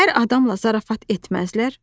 Hər adamla zarafat etməzlər?